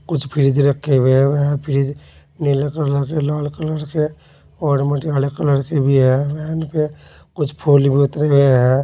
कुछ फ्रिज रखे हुए हैं फ्रिज नीला कलर के लाल कलर के और मटियाले कलर के भी हैं पे कुछ फूल भी उतरे हुए हैं।